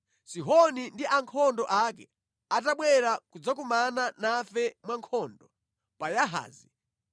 Sihoni ndi ankhondo ake atabwera kudzakumana nafe mwankhondo pa Yahazi,